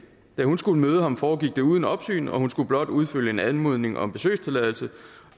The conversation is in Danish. da hun skulle møde ham foregik det uden opsyn og hun skulle blot udfylde en anmodning om besøgstilladelse